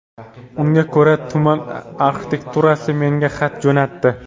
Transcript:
Unga ko‘ra, tuman arxitekturasi menga xat jo‘natdi.